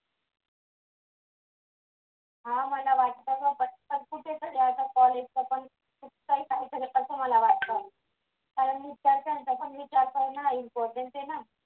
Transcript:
हा मला वाटतं कुठे झाड याचा कॉलेज जवळ खूप काही झालं असं मला वाटतं काल मी त्याच्या त्याच्या importance आहे ना